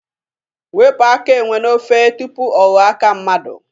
Wepụ aka enwe n'ofe tupu ọ ghọọ aka mmadụ.